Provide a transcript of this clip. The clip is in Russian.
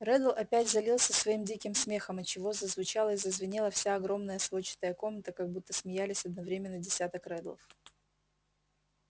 реддл опять залился своим диким смехом отчего зазвучала и зазвенела вся огромная сводчатая комната как будто смеялись одновременно десяток реддлов